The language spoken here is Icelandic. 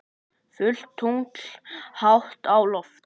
Fullt tungl hátt á lofti.